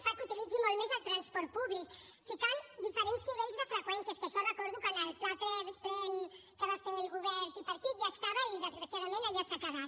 fa que utilitzi molt més el transport públic ficant diferents nivells de freqüències que això recordo que en el pla tren que va fer el govern tripartit ja hi estava i desgraciadament allà s’ha quedat